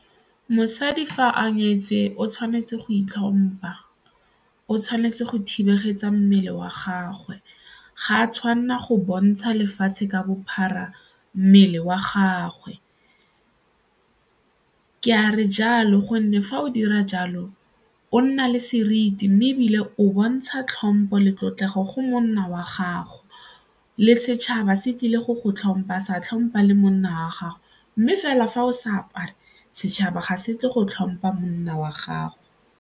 Mosadi fa a nyetswe o tshwanetse go itlhompha, o tshwanetse go thibeletsa mmele wa gagwe, ga a tshwanela go bontsha lefatshe ka bophara mmele wa gagwe. Ke a re jalo gonne fa o dira jalo o nna le seriti mme ebile o bontsha tlhompho le tlotlegang go monna wa gago le setšhaba se tlile go go tlhompha sa tlhompha le monna wa gagwe mme fela fa o sa apara setšhaba ga se ke go tlhompha monna wa gago.